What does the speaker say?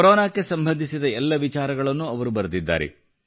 ಕೊರೊನಾಗೆ ಸಂಬಂಧಿಸಿದ ಎಲ್ಲ ವಿಚಾರಗಳನ್ನು ಅವರು ಬರೆದಿದ್ದಾರೆ